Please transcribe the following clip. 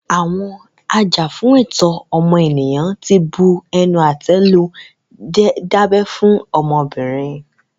Àwọn ajàfún ẹ̀tọ́ ọmọnìyàn tí bu ẹnu àtẹ́ lu dídábẹ́ fún ọmọbìnrin.